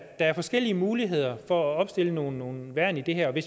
er forskellige muligheder for at opstille nogle nogle værn i det her vi